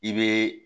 I bɛ